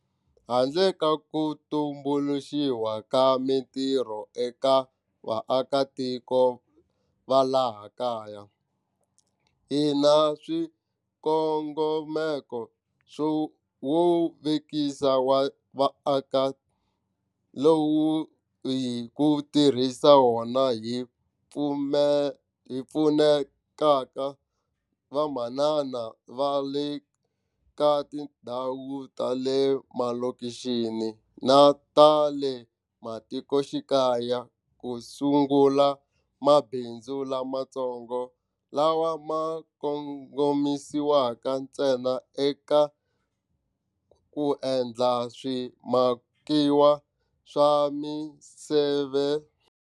Handle ka ku tumbuluxiwa ka mitirho eka vaakitiko va laha kaya, hi na swikongomeko swo vekisa wa vaaki lowu hi ku tirhisa wona hi pfunetaka vamanana va le ka tindhawu ta le malokixini na ta le matikoxikaya ku sungula mabindzu lamatsongo lawa ma kongomisiwaka ntsena eka ku endla swimakiwa swa miseve.